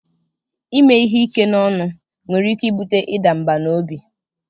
Ime ihe ike n'ọnụ nwere ike ibute ịda mbà n'obi.